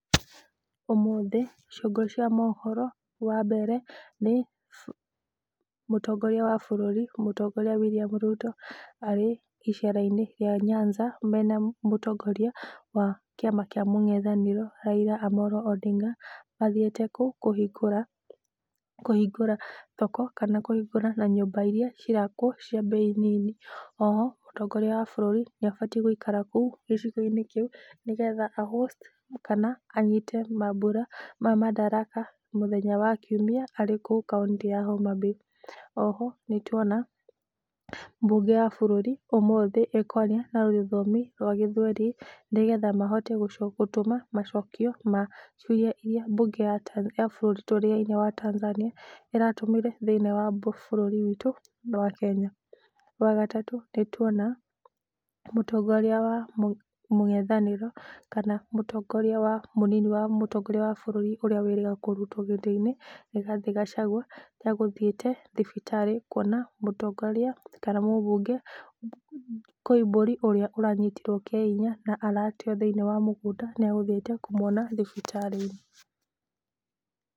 Ũmũthĩ ciongo cia mohoro wa mbere nĩ Mũtongoria wa bũrũri Mũtongoria William Ruto arĩ icera-inĩ rĩa Nyanza mena Mũtongoria wa Kiama Kia Mũngethanĩro Raila Amollo Odinga, mathiĩte kũhingũra thoko kana kũhingũra nyũmba irĩa cirakwo cia mbei nini. O ho Mũtongoria wa bũrũri nĩ abatiĩ gũikara kũu gĩcigo-inĩ kĩu nĩgetha a host kana anyite mambura ma mandaraka mũthenya wa Kiumia arĩ kũu Kauntĩ ya Homabay. O ho nĩ tuona mbunge ya bũrũri ũmũthĩ ĩkwaria na rũthiomi rwa gĩthweri nĩgetha mahote gũtũma macokio ma ciũria irĩa mbunge ya bũrũri wa Tanzania ĩratũmire thĩinĩ wa bũrũri witũ wa Kenya. Wa gatatũ nĩ tuona Mũtongoria wa mũngethanĩro kana Mũtongoria wa mũnini wa bũrũri ũria wĩrĩga kũrutwo gĩtĩ-inĩ, Rigathi Gachagua ta egũthiĩte thibitarĩ kuona mũtongoria kana mũbunge Koimbũri ũrĩa ũranyitirwo kya hinya na arateo mũgũnda, nĩ egũthiĩte kũmuona thibitarĩ.